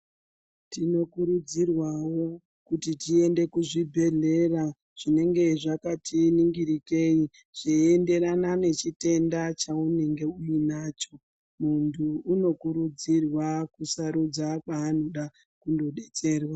Tinokurudzirwavo kuti tiende kuzvibhedhlera zvinenge zvakati ningirikei zveienderana nechitenda chaunenge uinacho. Muntu unokurudzirwa kusarudza kwaanoda kundobetserwa.